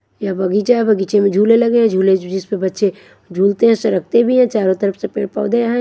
यहाँ बगीचा है बगीचे में झूले लगे हैं झूले जिस पर बच्चे झूलते हैं सड़कते भी हैं चारों तरफ से पेड़ पौधे हैं।